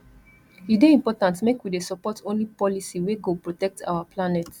e dey important make we dey support only policy wey go protect our planet